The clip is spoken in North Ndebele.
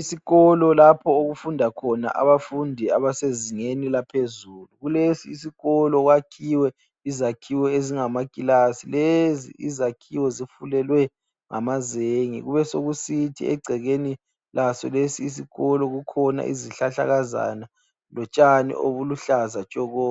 Isikolo lapho okufunda khona abafundi abasezingeni laphezulu kulesi isikolo kwakhiwe izakhiwo ezingamakilasi lezi izakhiwo zifulelwe ngamazenge, kube sokusithi egcekeni kwaso isikolo kukhona izihlahlakazana lotshani olubuhlaza ntshoko.